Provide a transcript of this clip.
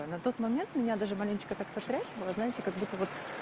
а на тот момент меня даже маленечко так потряхивало знаете как будто вот